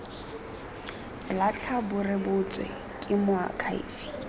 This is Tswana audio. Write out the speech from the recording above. latlha bo rebotswe ke moakhaefe